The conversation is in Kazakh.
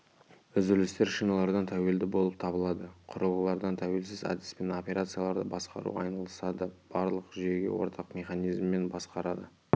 үзілістер шиналардан тәуелді болып табылады құрылғылардан тәуелсіз әдіспен операцияларды басқарумен айналысады барлық жүйеге ортақ механизмімен басқарады